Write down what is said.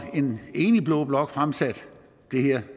en enig blå blok fremsatte det her